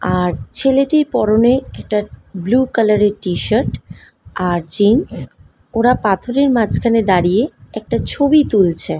আর ছেলেটির পরনে একটা ব্লু কালার এর টি শার্ট আর জিন্স । ওরা পাথরের মাঝখানে দাঁড়িয়ে একটা ছবি তুলছে।